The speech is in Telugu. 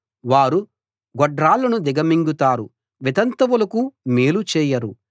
వారు గొడ్రాళ్ళను దిగమింగుతారు వితంతువులకు మేలు చేయరు